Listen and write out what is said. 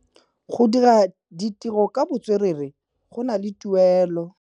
Go dira ditirô ka botswerere go na le tuelô.